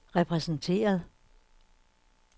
repræsenteret